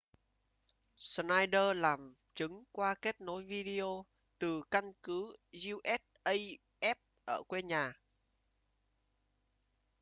schneider làm chứng qua kết nối video từ căn cứ usaf ở quê nhà